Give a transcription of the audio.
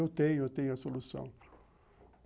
Eu tenho, eu tenho a solução.